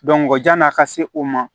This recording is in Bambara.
jan'a ka se o ma